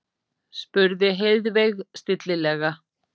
spurði Heiðveig stillilega.